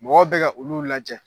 Mɔgɔ bɛ ka olu lajɛ